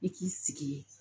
I k'i sigi ye